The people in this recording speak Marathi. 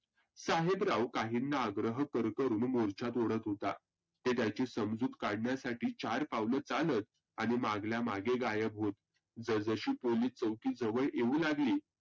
साहेबराव काहींना अग्रह करूण मोर्चात ओढत होता. ते त्याची समजुत काढण्यासाठी चार पाऊल चालत आणि मागल्या मागे गायब होत. जस जशी पोलिस चौकी जवळ येऊ लागली